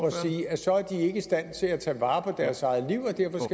at sige at så er de ikke i stand til at tage vare på deres eget liv